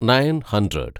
nine hundred